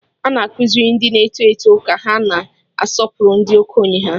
Ana-akụziri ndị n'eto eto ka ha na-asọpụrụ ndị okenye ha